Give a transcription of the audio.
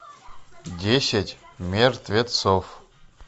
десять мертвецов